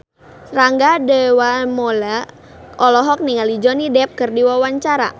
Rangga Dewamoela olohok ningali Johnny Depp keur diwawancara